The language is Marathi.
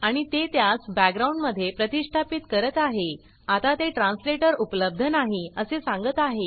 आणि ते त्यास बॅकग्राउंड मध्ये प्रतिष्ठापीत करत आहेआता ते ट्रांसलेटर उपलब्ध नाही असे सांगत आहे